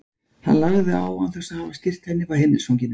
Hann lagði á án þess að hafa skýrt henni frá heimilisfanginu.